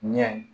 Ɲɛ